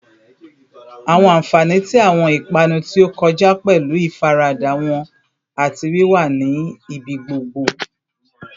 Awọn anfani ti awọn ipanu ti o kọja pẹlu ifarada wọn ati wiwa ni ibigbogbo